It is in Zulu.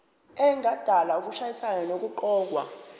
engadala ukushayisana nokuqokwa